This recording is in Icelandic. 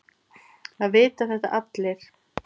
Það vita þetta allir.